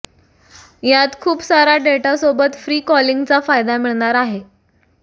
यात खूप सारा डेटासोबत फ्री कॉलिंगचा फायदा मिळणार आहे